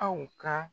Aw ka